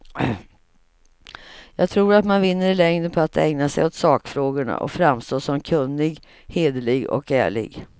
Jag tror att man vinner i längden på att ägna sig åt sakfrågorna och framstå som kunnig, hederlig och ärlig.